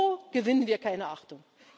So gewinnen wir keine Achtung.